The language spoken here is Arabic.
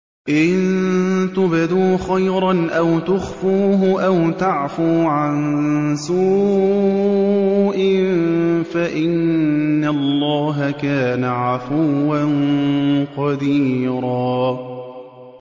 إِن تُبْدُوا خَيْرًا أَوْ تُخْفُوهُ أَوْ تَعْفُوا عَن سُوءٍ فَإِنَّ اللَّهَ كَانَ عَفُوًّا قَدِيرًا